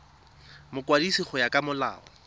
mokwadisi go ya ka molao